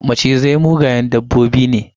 Macizai mugayen dabbobi ne.